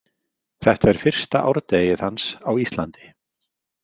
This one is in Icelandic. Þetta er fyrsta árdegið hans á Íslandi.